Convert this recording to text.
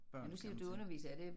Børn kan man sige